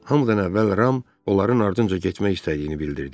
Hamıdan əvvəl Ram onların ardınca getmək istədiyini bildirdi.